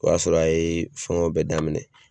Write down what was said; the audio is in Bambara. O y'a sɔrɔ a ye fɛngɛw bɛɛ daminɛ